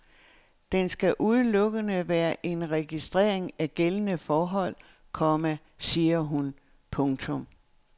Den skal udelukkende være en registrering af gældende forhold, komma siger hun. punktum